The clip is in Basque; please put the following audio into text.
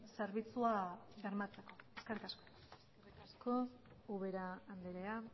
zerbitzua bermatzeko eskerrik asko eskerrik asko ubera andrea